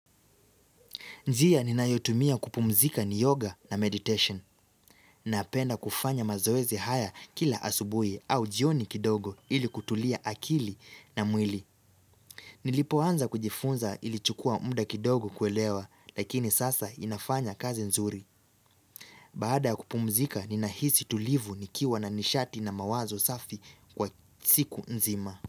Njia ninayotumia kupumzika ni yoga na meditation. Napenda kufanya mazoezi haya kila asubuhi au jioni kidogo ili kutulia akili na mwili. Nilipoanza kujifunza ilichukua mda kidogo kuelewa lakini sasa inafanya kazi nzuri. Baada kupumzika ninahisi tulivu nikiwa na nishati na mawazo safi kwa siku nzima.